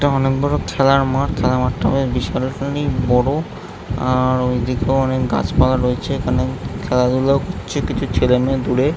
এটা অনেক বড় খেলার মাঠ। খেলার মাঠটা বেশ বিশাল খানিক বড় আর ওই দিকেও অনেক গাছপালা রয়েছে। এখানে খেলাধুলাও করছে কিছু ছেলে মেয়ে দূরে --